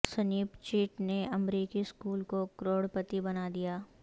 snap chat نے امریکی school کو کروڑپتی بنا دیا